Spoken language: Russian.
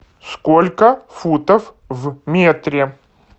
сколько футов в метре